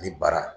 Ani bara